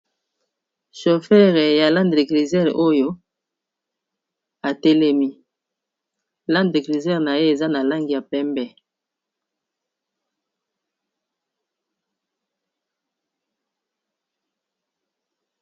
shofere ya linde de grisere oyo atelemi lande de grisere na ye eza na langi ya pembe